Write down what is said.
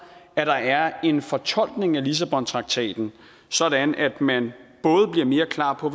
at der er en fortolkning af lissabontraktaten sådan at man både bliver mere klar på